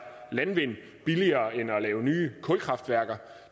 landvind billigere end at lave nye kulkraftværker